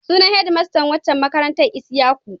Sunan hedmastan waccan makarantar Isyaku.